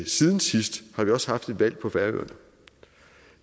siden sidst har vi også haft et valg på færøerne